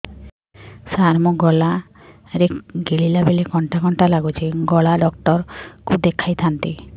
ସାର ମୋ ଗଳା ରେ ଗିଳିଲା ବେଲେ କଣ୍ଟା କଣ୍ଟା ଲାଗୁଛି ଗଳା ଡକ୍ଟର କୁ ଦେଖାଇ ଥାନ୍ତି